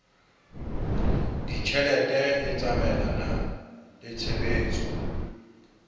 ditjhelete e tsamaelana le tshebetso